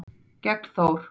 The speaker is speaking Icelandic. gegn Þór.